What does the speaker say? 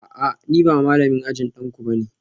A'a ni ba malamin ajin danku ba ne